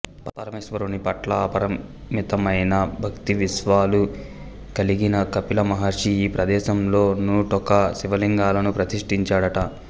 పరమేశ్వరుని పట్ల అపరిమితమైన భక్తి విశ్వాసాలు కలిగిన కపిల మహర్షి ఈ ప్రదేశంలో నూటొక్క శివలింగాలను ప్రతిష్ఠించాడట